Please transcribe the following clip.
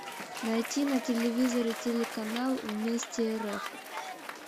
найти на телевизоре телеканал вместе рф